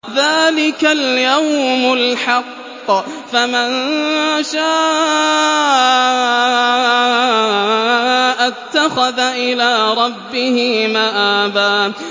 ذَٰلِكَ الْيَوْمُ الْحَقُّ ۖ فَمَن شَاءَ اتَّخَذَ إِلَىٰ رَبِّهِ مَآبًا